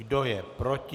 Kdo je proti?